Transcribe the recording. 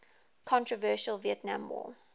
controversial vietnam war